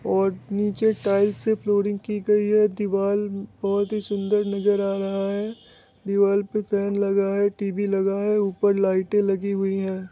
और नीचे टाइल्स से फ्लोरिंग की गई है दीवार बहुत ही सुंदर नजर आ रहा है दीवार पे फेन लगा है टी.वी लगा है ऊपर लाइट लगी हुई हैं।